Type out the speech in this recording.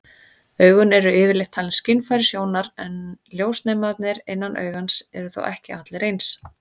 Augun eru yfirleitt talin skynfæri sjónar, en ljósnemarnir innan augans eru þó ekki allir eins.